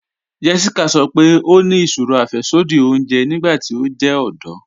Jéssíkà sọ́ pé ó ní ìṣòrò afẹ̀ṣọdí òunjè nígbàtí ó jẹ ọdọ̀.